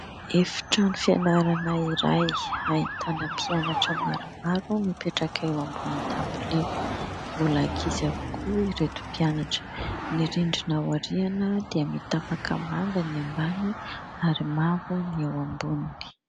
Efitrano fianarana iray, ahitana mpianatra maromaro mipetraka eo ambonin'ny dabilio, mbola ankizy avokoa ireto mpianatra. Ny rindrina aoriana dia mitapaka manga ny ambany ary mavo ny eo amboniny.